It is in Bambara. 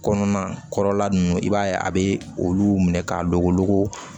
Kɔnɔna kɔrɔla ninnu i b'a ye a bɛ olu minɛ k'a don wolonogo